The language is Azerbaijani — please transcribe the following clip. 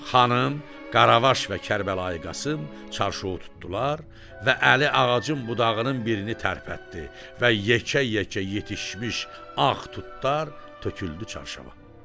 Xanım, Qaravaş və Kərbəlayi Qasım çarşovu tutdular və Əli ağacın budağının birini tərpətdi və yekə-yekə yetişmiş ağ tutlar töküldü çarşava.